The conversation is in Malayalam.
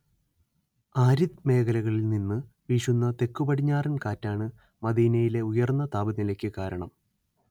ആരിദ്‌ മേഖലകളിൽ നിന്നു വീശുന്ന തെക്കുപടിഞ്ഞാറൻ കാറ്റാണ്‌ മദീനയിലെ ഉയർന്ന താപനിലയ്ക്കു കാരണം